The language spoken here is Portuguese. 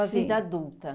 Sua vida adulta.